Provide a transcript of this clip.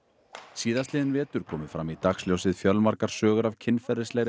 síðastliðinn vetur komu fram í dagsljósið fjölmargar sögur af kynferðislegri